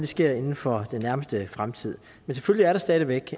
sker inden for den nærmeste fremtid men selvfølgelig er der stadig væk